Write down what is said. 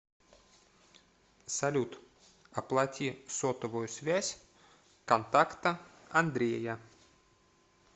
салют оплати сотовую связь контакта андрея